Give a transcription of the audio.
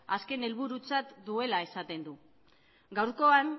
azken helburutzat duela esaten du gaurkoan